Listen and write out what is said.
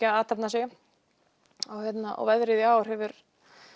að athafna sig og veðrið hefur